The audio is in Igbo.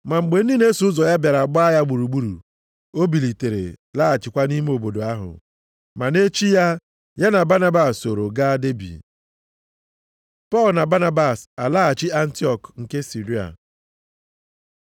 Ma mgbe ndị na-eso ụzọ bịara gbaa ya gburugburu, o bilitere, laghachikwa nʼime obodo ahụ. Ma nʼechi ya, ya na Banabas sooro gaa Debi. Pọl na Banabas alaghachi Antiọk nke Siria